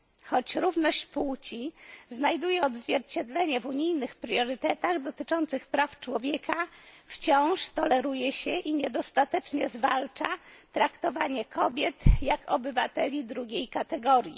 Choć równość płci znajduje odzwierciedlenie w unijnych priorytetach dotyczących praw człowieka, wciąż toleruje się i niedostatecznie zwalcza traktowanie kobiet jak obywateli drugiej kategorii.